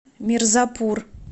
мирзапур